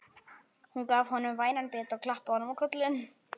Hún gaf honum vænan bita og klappaði honum á kollinn.